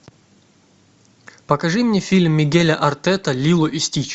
покажи мне фильм мигеля артета лило и стич